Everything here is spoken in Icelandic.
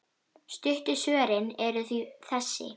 Stuttu svörin eru því þessi